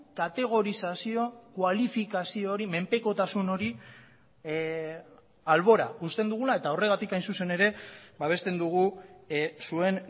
kategorizazio kualifikazio hori menpekotasun hori albora uzten dugula eta horregatik hain zuzen ere babesten dugu zuen